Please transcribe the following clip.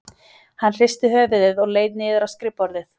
Hann hristi höfuðið og leit niður á skrifborðið.